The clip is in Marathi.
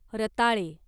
रताळे